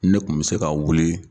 Ne tun me se ka wule